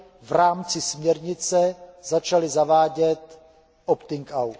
v rámci směrnice začaly zavádět opting out.